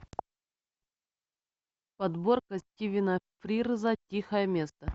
подборка стивена фрирза тихое место